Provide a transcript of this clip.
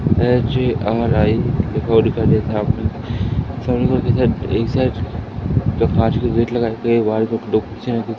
HARI लिखा हुआ दिखाई देता है --